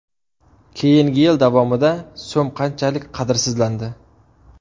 Keyingi yil davomida so‘m qanchalik qadrsizlandi?